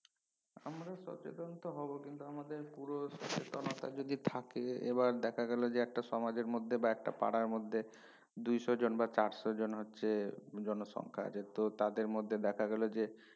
আমরা সচেতন তো হবো কিন্তু আমাদের পুরুষ জনতা যদি থাকে এবার দেখা গেলো যে একটা সমাজের মধ্যে বা একটা পাড়ার মধ্যে দুইশো জন বা চারশো জন হচ্ছে জনসংখ্যা তো তাদের মধ্যে দেখা গেলো যে